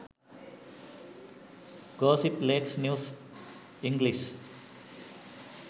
gossip lanka news english